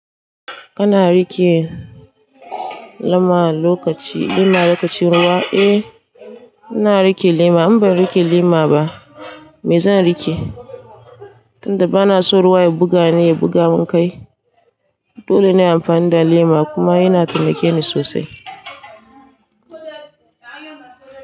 Kana riƙe lema lokaci, lema lokacin ruwa? Eh, ina riƙe lema. In ban riƙe lema ba, mai zan riƙe? Tunda bana so ruwa ya buga ni, ya buga mun kai, dole ne in amfani da lema kuma yana taimake ni sosai.